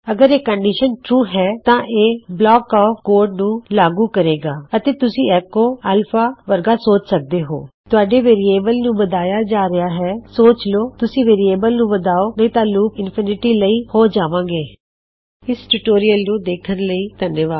ਅਗਰ ਇਹ ਕੰਨਡਿਸ਼ਨ ਸੱਚ ਹੈ ਤਾਂ ਇਹ ਬਲਾਕ ਆਫ ਕੋਡ ਨੂੰ ਲਾਗੂ ਕਰੇਗਾ ਅਤੇ ਤੁਸੀਂ ਐੱਕੋ ਅਲਫਾ ਵਰਗਿਆਾਂ ਚਿਜ਼ਾ ਕਰ ਸਕਦੇ ਹੋਂ ਤੁਹਾਡੇ ਵੇਰਿਏਬਲ ਦਾ ਇਨਕਰੀਮੇਨਟ ਹੇ ਕਿਆ ਹੈ ਨਿਸ਼ਚਯ ਕਰ ਲੋ ਤੁਸੀ ਅਪਨੇ ਵੇਰਿਏਬਲ ਨੂ ਵਦਾਓ ਨਹੀ ਤੇ ਲੂਪ ਅਨਨਤ ਲਇ ਹੋ ਜਾਵੇਗਾ ਦੇਖਣ ਲਈ ਧੰਨਵਾਦ